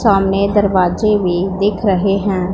सामने दरवाजे भी दिख रहे है।